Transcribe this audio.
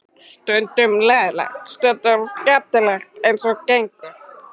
Stundum leiðinlegt, stundum skemmtilegt eins og gengur.